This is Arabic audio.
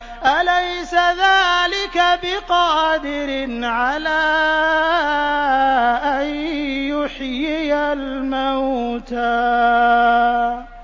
أَلَيْسَ ذَٰلِكَ بِقَادِرٍ عَلَىٰ أَن يُحْيِيَ الْمَوْتَىٰ